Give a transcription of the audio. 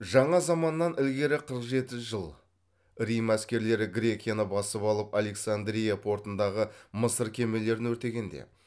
жаңа заманнан ілгері қырық жеті жыл рим әскерлері грекияны басып алып александрия портындағы мысыр кемелерін өртегенде